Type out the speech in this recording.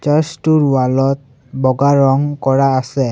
Search টোৰ wall ত বগা ৰং কৰা আছে।